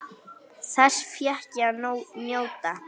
Þess fékk ég að njóta.